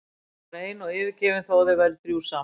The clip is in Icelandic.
Hún var ein og yfirgefin þó að þau væru þrjú saman.